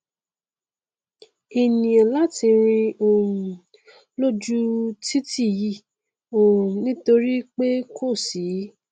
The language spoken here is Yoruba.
ènìà láti rìn um lóju u titi yìí um nítorí pé kò sí